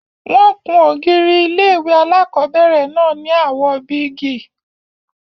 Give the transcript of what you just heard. Wọ́n ku n ògiri ilé-ìwé alákobẹ̀rẹ̀ náà ní àwò bíégì